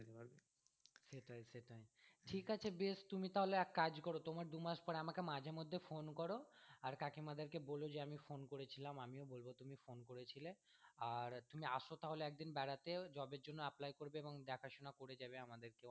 ঠিক আছে বেশ তুমি তাহলে এক কাজ করো তোমার দুমাস পরে আমাকে মাঝের মধ্যে phone কর আর কাকিমা দেড়কে বোলো যে আমি phone করেছিলাম, আমিও বলবো তুমি phone করেছিলে আর তুমি আসো তাহলে একদিন বেড়াতে job এর জন্যে apply করবে এবং দেখা শোনা করে যাবে আমাদেরকেও